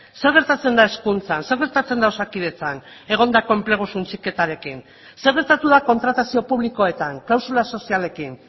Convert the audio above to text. zer gertatzen da hezkuntzan zer gertatzen da osakidetzan egondako enplegu suntsiketarekin zer gertatu da kontratazio publikoetan klausula sozialekin